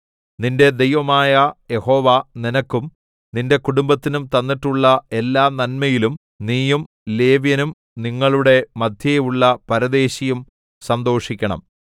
നിന്റെ ദൈവമായ യഹോവ നിനക്കും നിന്റെ കുടുംബത്തിനും തന്നിട്ടുള്ള എല്ലാനന്മയിലും നീയും ലേവ്യനും നിങ്ങളുടെ മദ്ധ്യേയുള്ള പരദേശിയും സന്തോഷിക്കണം